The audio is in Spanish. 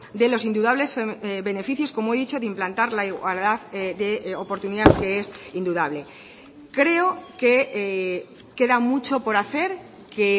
de los indudables beneficios como he dicho de implantar la igualdad de oportunidad que es indudable creo que queda mucho por hacer que